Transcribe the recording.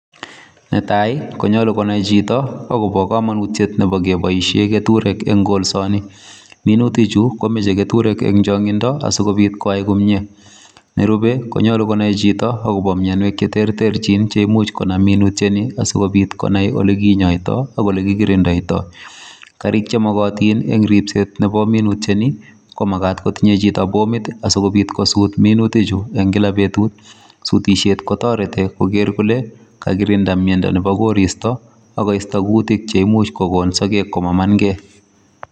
Netai konyalu konai Chito akoba kamanutiet Koba kebaishen keturek Nebo kolsani minutik Chu komache keturek en chankinsikobit koyai komie nerube koyache konai Chito akobo mianwek cheterterchin cheimuch konam minutiet Ni asikobit konai yelekinyoitoi akolekinyoriktoi Karik chemakatin en en ribset Nebo minutiet nikomakat kotinye Chito sikobit kosut minutik Chu en kila betut sutishet kotareti geker Kole kakikirinda ak miendo Nebo koristo akoisto kutik cheimuche komaman gei